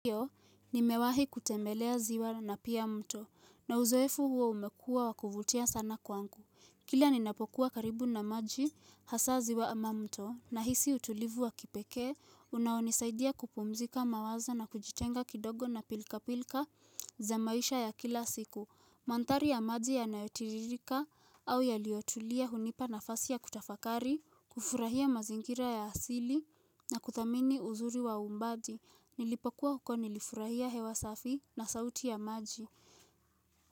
Ndiyo, nimewahi kutembelea ziwa na pia mto, na uzoefu huo umekua wakuvutia sana kwangu. Kila ninapokuwa karibu na maji hasaa ziwa ama mto, nahisi utulivu wa kipekee, unaonisaidia kupumzika mawaza na kujitenga kidogo na pilkapilka za maisha ya kila siku. Mandhari ya maji ya nayotiririka au yaliotulia hunipa nafasi ya kutafakari, kufurahia mazingira ya asili na kuthamini uzuri wa uumbaji. Nilipokuwa huko nilifurahia hewa safi na sauti ya maji.